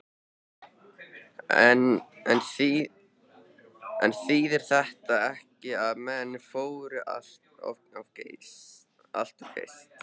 En þýðir þetta ekki að menn fóru allt of geyst?